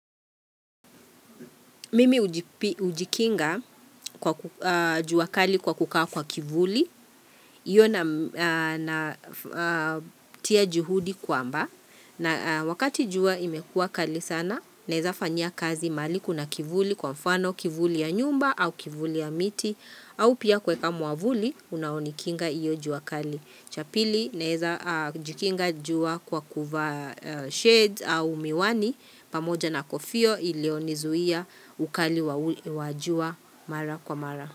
Mimi hujikinga kwa jua kali kwa kukaa kwa kivuli. Iyo na tia juhudi kwamba. Na wakati jua imekuwa kali sana naeza fanyia kazi mahali kuna kivuli kwa mfano kivuli ya nyumba au kivuli ya miti. Au pia kueka mwavuli unaonikinga iyo jua kali. Chapili na naeza jikinga jua kwa kuvaa shades au miwani pamoja na kofio ilionizuia ukali wa jua mara kwa mara.